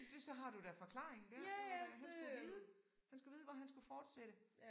Det så har du da forklaringen dér. Åha han skulle vide han skulle vide hvor han skulle fortsætte